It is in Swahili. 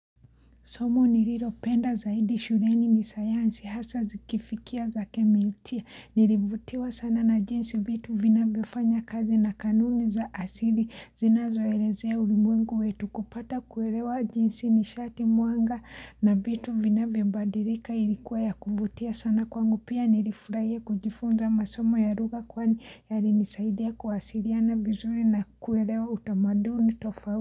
Somo nililopenda zaidi shuleni ni sayansi hasa zikifikia za kemiutia nilivutiwa sana na jinsi vitu vinavyofanya kazi na kanuni za asili zinazoelezea ulimwengu wetu kupata kuelewa jinsi ni sharti mwanga na vitu vinavyo badilika ilikuwa ya kuvutia sana kwangu pia nilifurahia kujifunza masomo ya lugha kwani yalinisaidia kuwasiliana vizuri na kuelewa utamaduni tofau.